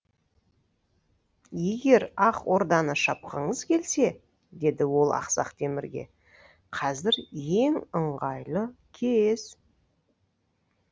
егер ақ орданы шапқыңыз келсе деді ол ақсақ темірге қазір ең ыңғайлы кез